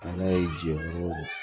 A n'a ye jeni